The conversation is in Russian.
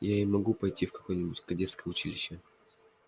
и я могу пойти в какое-нибудь кадетское училище